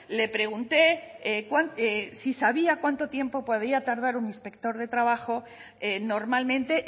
le pregunté si sabía cuánto tiempo podía tardar un inspector de trabajo normalmente